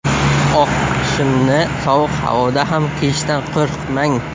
Oq shimni sovuq havoda ham kiyishdan qo‘rqmang.